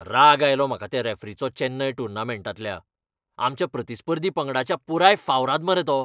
राग आयलो म्हाका त्या रॅफरीचो चॅन्नय टुर्नामेंटांतल्या, आमच्या प्रतिस्पर्धी पंगडाच्या पुराय फावराद मरे तो.